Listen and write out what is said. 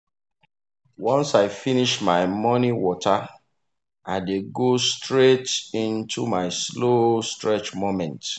once i finish my morning water i dey go straight into my slow stretch moment.